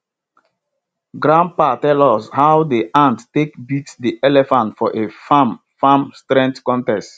grandpa tell us how de ant take beat de elephant for a farm farm strength contest